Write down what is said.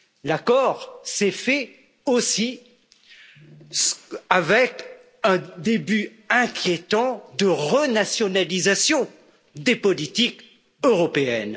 L'accord s'est fait, aussi, avec un début inquiétant de renationalisation des politiques européennes.